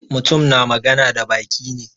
Mutum na magana da baki ne.